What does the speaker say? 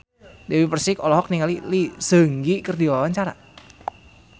Dewi Persik olohok ningali Lee Seung Gi keur diwawancara